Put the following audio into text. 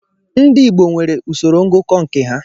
Ndị Igbo nwere usoro ngụkọ nke ha.